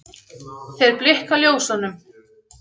Þeir blikka ljósunum